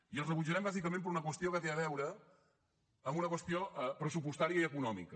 i els rebutjarem bàsicament per una qüestió que té a veure amb una qüestió pressupostària i econòmica